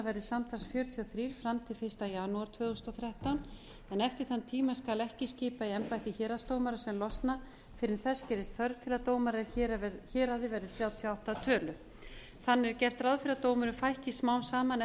verði samtals fjörutíu og þrjú fram til fyrsta janúar tvö þúsund og þrettán en eftir þann tíma skal ekki skipa í embætti héraðsdómara sem losna fyrr en þess gerist þörf til að dómarar í héraði verði þrjátíu og átta að tölu þannig er gert ráð fyrir að dómurum fækki smám saman